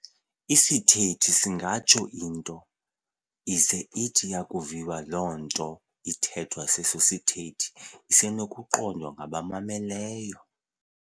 Isithethi singatsho into, ize ithi yakuviwa loo nto ithethwa seso sithethi isenokuqondwa ngabamameleyo.